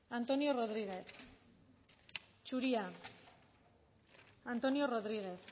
antonio rodriguez zuria antonio rodriguez